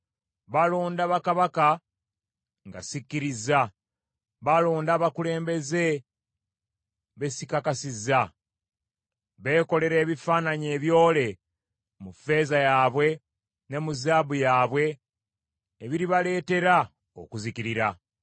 Balonda bakabaka nga sikkirizza, balonda abakulembeze be sikakasizza. Beekolera ebifaananyi ebyole mu ffeeza yaabwe ne mu zaabu yaabwe ebiribaleetera okuzikirira.